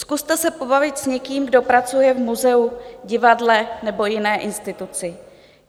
Zkuste se pobavit s někým, kdo pracuje v muzeu, divadle nebo jiné instituci.